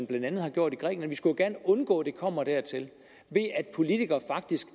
blandt andet har gjort i grækenland vi skulle jo gerne undgå at det kommer dertil ved at politikere faktisk